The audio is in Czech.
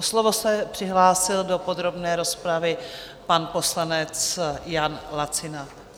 O slovo se přihlásil do podrobné rozpravy pan poslanec Jan Lacina.